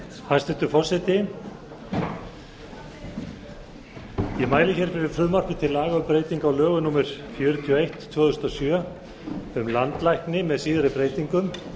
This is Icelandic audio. hæstvirtur forseti ég mæli hér fyrir frumvarpi til laga má breyting á lögum númer fjörutíu og eitt tvö þúsund og sjö um landlækni með síðari breytingum